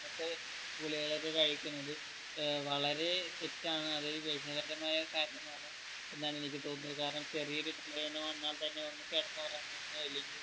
അങ്ങനത്തെ ഗുളികകൾ ഒക്കെ കഴിക്കുന്നത് ഏർ വളരെ തെറ്റാണ് അത് മായ കാര്യമാണ് എന്നാണ് എനിക്ക് തോന്നുന്നത് കാരണം ചെറിയൊരു തലവേദന വന്നാൽ തന്നെ ഒന്ന് കെടന്നൊറങ്ങുവോ അല്ലെങ്കി